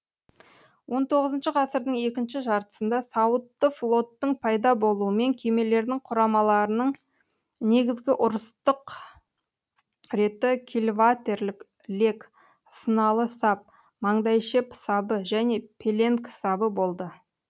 он тоғызыншы ғасырдың екінші жартысында сауытты флоттың пайда болуымен кемелердің құрамаларының негізгі ұрыстық реті кильватерлік лек сыналы сап маңдайшеп сабы және пеленг сабы болды